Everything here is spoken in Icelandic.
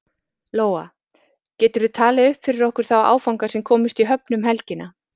Lóa: Geturðu talið upp fyrir okkur þá áfanga sem komust í höfn um helgina?